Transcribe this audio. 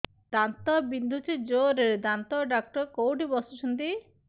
ଦାନ୍ତ ବିନ୍ଧୁଛି ଜୋରରେ ଦାନ୍ତ ଡକ୍ଟର କୋଉଠି ବସୁଛନ୍ତି